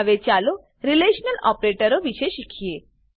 હવે ચાલો રીલેશનલ ઓપરેટરો વિશે શીખીએ